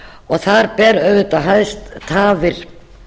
og þar ber auðvitað hæst tafir